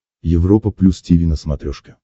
европа плюс тиви на смотрешке